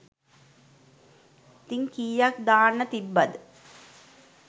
ඉතින් කීයක් දාන්න තිබ්බද.